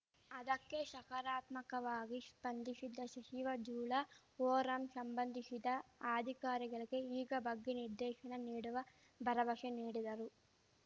ಅದಕ್ಕೆ ಶಕಾರಾತ್ಮಕವಾಗಿ ಶ್ಪಂದಿಶಿದ ಶಚಿವ ಜುಲಾ ಓರಾಮ್‌ ಶಂಬಂಧಿಸಿದ ಅಧಿಕಾರಿಗಳಿಗೆ ಈಗ ಬಗ್ಗೆ ನಿರ್ದೇಶನ ನೀಡುವ ಭರವಶೆ ನೀಡಿದರು